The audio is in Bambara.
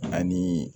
Ani